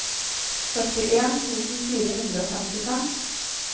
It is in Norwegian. førtien tusen fire hundre og femtifem